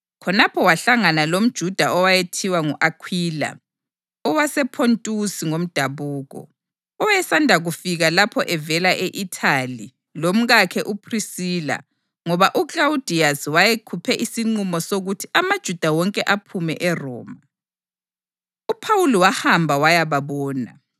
Khonapho wahlangana lomJuda owayethiwa ngu-Akhwila, owasePhontusi ngomdabuko, owayesanda kufika lapho evele e-Ithali lomkakhe uPhrisila ngoba uKlawudiyasi wayekhuphe isinqumo sokuthi amaJuda wonke aphume eRoma. UPhawuli wahamba wayababona,